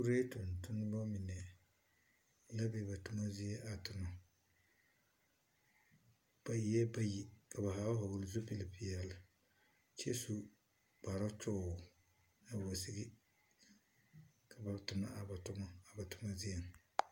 Kuree tontonema mine la be ba toma zie a tonͻ. Ba eԑԑ bayi ka ba zaa vͻgele zupili peԑle kyԑ su kpare toore awa sigi, ka ba tonͻ a ba toma a ba toma zieŋ.